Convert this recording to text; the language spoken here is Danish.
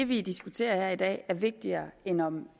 vi diskuterer her i dag er vigtigere end om